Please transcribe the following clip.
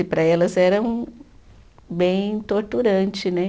E para elas era um bem torturante, né?